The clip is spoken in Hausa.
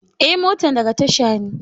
Eh, motan daga tasha ne.